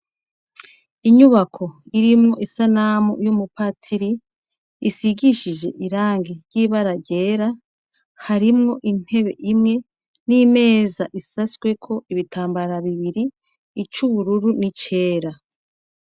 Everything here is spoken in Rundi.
Inyubako irimwo isanamu y' umupatiri, isigishije ibara ryera, harimwo intebe Imwe n' imeza isashweko ibitambara bibiri , ic' ubururu n' icera.